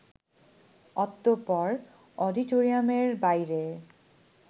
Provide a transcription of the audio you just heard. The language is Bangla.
অতঃপর অডিটোরিয়ামের বাইরে